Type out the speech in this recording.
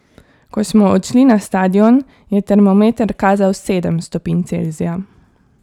Ko smo odšli na stadion, je termometer kazal sedem stopinj Celzija.